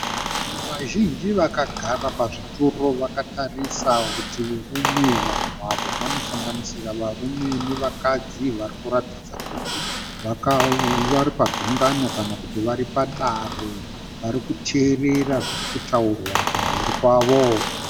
Vanhu vazhinji vakagara pazvituro vakatarisa rutivi rumwe. Vanhu ava vanosanganisira varume nevakadzi varikuratidza kuti varipagungano kana kuti varipadare varikuteerera zvirikutaurwa kumberi kwavo.